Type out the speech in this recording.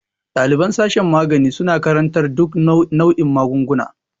Ɗaliban sashin magani suna karantar duk nau'ikan magunguna.